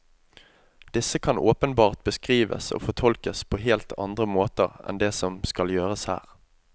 Disse kan åpenbart beskrives og fortolkes på helt andre måter enn det som skal gjøres her.